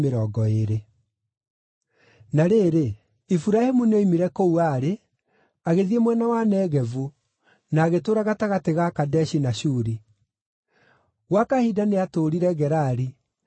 Na rĩrĩ, Iburahĩmu nĩoimire kũu aarĩ, agĩthiĩ mwena wa Negevu, na agĩtũũra gatagatĩ ga Kadeshi na Shuri. Gwa kahinda nĩatũũrire Gerari